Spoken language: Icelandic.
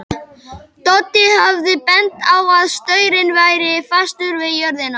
Doddi hafði bent á að staurinn væri fastur við jörðina.